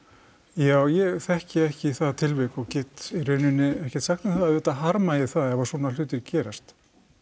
já ég þekki ekki það tilvik og get í rauninni ekkert sagt um það auðvitað harma ég það ef að svona hlutir gerast